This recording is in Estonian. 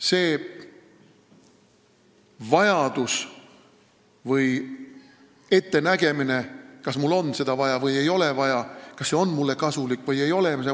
Me mõtleme ette, kas mul on seda vaja või ei ole vaja, kas see on mulle kasulik või ei ole.